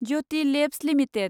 Jyoti Labs limited